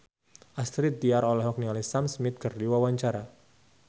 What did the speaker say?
Astrid Tiar olohok ningali Sam Smith keur diwawancara